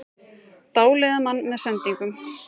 Dáleiða mann með sendingunum